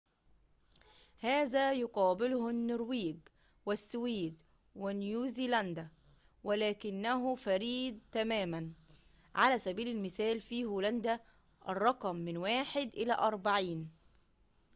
هذا يقابله النرويج، والسويد ونيوزيلندا، ولكنه فريد تماماً على سبيل المثال في هولندا، الرقم من واحد إلى أربعين